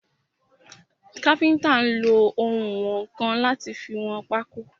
Káfíntà nlo ounwọ̀nkan láti fi wọn pákó.